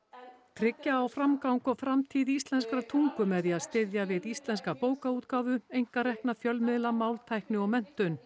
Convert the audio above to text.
tryggja á framgang og framtíð íslenskrar tungu með því að styðja við íslenska bókaútgáfu einkarekna fjölmiðla máltækni og menntun